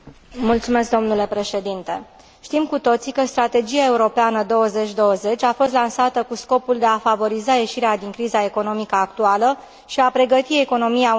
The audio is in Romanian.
Știm cu toții că Strategia europeană 2020 a fost lansată cu scopul de a favoriza ieșirea din criză economică actuală și a pregăti economia Uniunii Europene pentru noul deceniu.